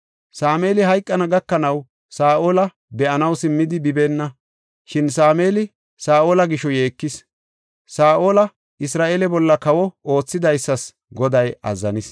Sameeli hayqana gakanaw Saa7ola be7anaw simmidi bibeenna, shin Sameeli Saa7ola gisho yeekis. Saa7ola Isra7eele bolla kawo oothidaysas Goday azzanis.